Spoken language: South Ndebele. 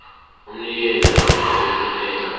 umnikeli namkha othumela